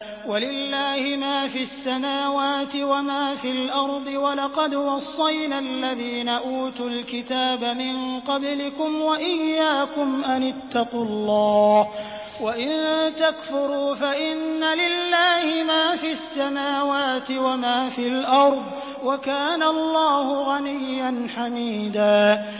وَلِلَّهِ مَا فِي السَّمَاوَاتِ وَمَا فِي الْأَرْضِ ۗ وَلَقَدْ وَصَّيْنَا الَّذِينَ أُوتُوا الْكِتَابَ مِن قَبْلِكُمْ وَإِيَّاكُمْ أَنِ اتَّقُوا اللَّهَ ۚ وَإِن تَكْفُرُوا فَإِنَّ لِلَّهِ مَا فِي السَّمَاوَاتِ وَمَا فِي الْأَرْضِ ۚ وَكَانَ اللَّهُ غَنِيًّا حَمِيدًا